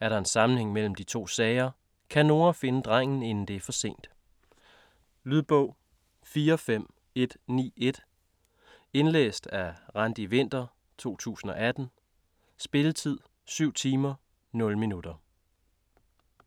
Er der en sammenhæng imellem de to sager? Kan Nora finde drengen inden det er for sent? Lydbog 45191 Indlæst af Randi Winther, 2018. Spilletid: 7 timer, 0 minutter.